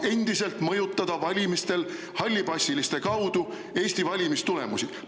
… et Venemaa saaks endiselt hallipassiliste kaudu mõjutada Eesti valimistulemusi.